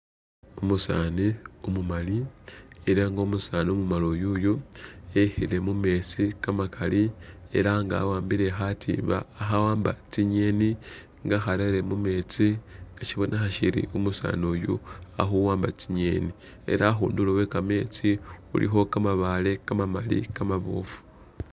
Umusaani umumali ela nga omusani umumali uyuyu e'khile mumetsi kamakali ela nga wa'ambile khatimba khawamba tsi'ngeni nga akharele mumetsi, shibonekha shiri umusaani yu ali khuwamba tsi'ngeni ela khundulo khwe kametsi khulikho kamabaale kamamali kamaboofu